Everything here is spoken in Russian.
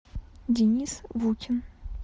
денис вутин